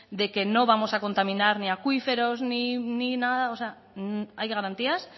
de que no vamos a contaminar ni acuíferos ni nada hay garantías